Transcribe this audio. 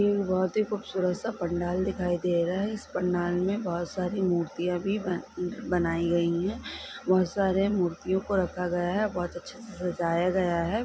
ये बहुत ही खूबसूरत सा पंडाल दिखाई दे रहा है इस पंडाल मे बहुत सारी मूर्तीया भी बनाई गई है बहुत सारे मूर्तियों को रखा गया है बहुत अच्छे से सजाया गया है।